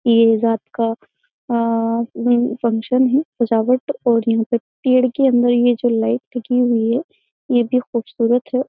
ये रात का फंक्शन है सजावट और यहाँ पर पेड़ के अंदर ये जो लाइट लगी हुई है ये भी खूबसूरत है।